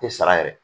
Tɛ sara yɛrɛ